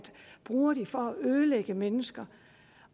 ødelægge mennesker